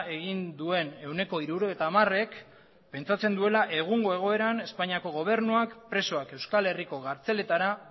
egin duen ehuneko hirurogeita hamarek pentsatzen duela egungo egoeran espainiako gobernuak presoak euskal herriko kartzeletara